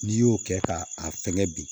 N'i y'o kɛ ka a fɛnkɛ bi